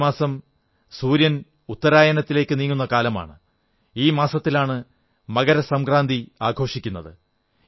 ജനുവരി മാസം സൂര്യൻ ഉത്തരായനത്തിലേക്കു നീങ്ങുന്ന കാലമാണ് ഈ മാസത്തിലാണ് മകരസംക്രാന്തി ആഘോഷിക്കുന്നത്